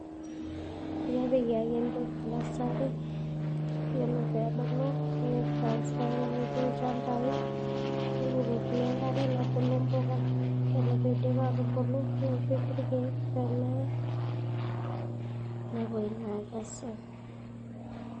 Kepiki ake empeku nursery yiolo pee ebulu nitrasfa nepiki ilchamabai , nebukokini enkare nebulu impuka ore piidip aatubulu newoshi irkeek pee meye, nepuoi naa aikesu.